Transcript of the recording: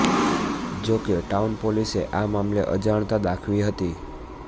જો કે ટાઉન પોલીસે આ મામલે અજાણતા દાખવી હતી